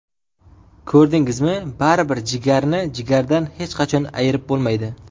Ko‘rdingizmi, baribir jigarni jigardan hech qachon ayirib bo‘lmaydi.